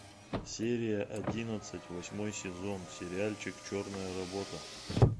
серия одиннадцать восьмой сезон сериальчик черная работа